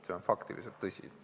See on fakt, see on tõsi.